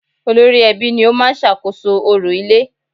Olórí ẹbí ni ó máa ń sàkóso orò ilé